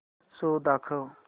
show दाखव